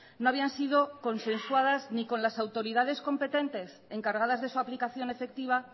no habían sido consensuadas ni con las autoridades competentes encargadas de su aplicación efectiva